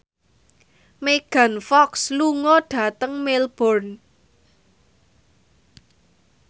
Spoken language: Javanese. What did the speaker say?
Megan Fox lunga dhateng Melbourne